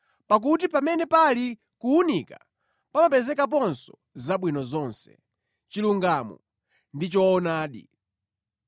(pakuti pamene pali kuwunika pamapezekaponso zabwino zonse, chilungamo ndi choonadi).